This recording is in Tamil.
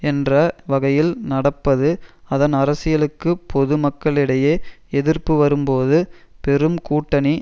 என்ற வகையில் நடப்பது அதன் அரசியலுக்கு பொது மக்களிடையே எதிர்ப்பு வரும்போது பெரும் கூட்டணி